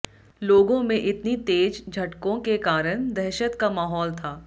लोगों में इतनी तेज झटकों के कारण दहशत का माहौल था